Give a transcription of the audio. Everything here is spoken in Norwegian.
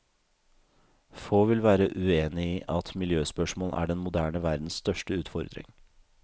Få vil være uenig i at miljøspørsmål er den moderne verdens største utfordring.